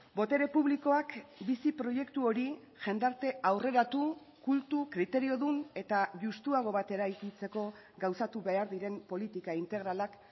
botere publikoak bizi proiektu hori jendarte aurreratu kultu kriteriodun eta justuago bat eraikitzeko gauzatu behar diren politika integralak